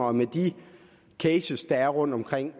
og med de cases der er rundt omkring